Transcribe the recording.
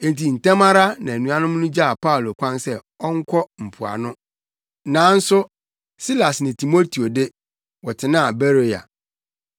Enti ntɛm ara na anuanom no gyaa Paulo kwan sɛ ɔnkɔ mpoano, nanso Silas ne Timoteo de, wɔtenaa Beroia.